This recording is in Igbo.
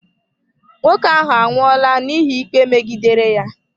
Nwoke ahụ anwụola n'ihi ikpe megidere ya.